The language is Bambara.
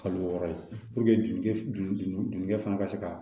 Kalo wɔɔrɔ ye joli fana ka se ka